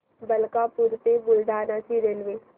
मलकापूर ते बुलढाणा ची रेल्वे